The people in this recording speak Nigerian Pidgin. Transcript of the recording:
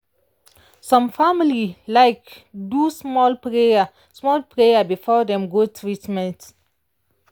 some family like do small prayer small prayer before dem go treatment.